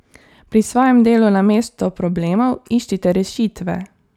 Pri svojem delu namesto problemov iščite rešitve...